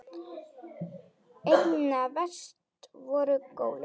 Einna verst voru gólin.